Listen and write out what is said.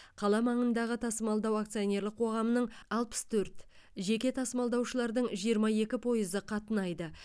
қала маңындағы тасымалдау акционерлік қоғамының алпыс төрт жеке тасымалдаушылардың жиырма екі пойызы қатынайды